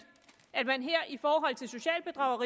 at man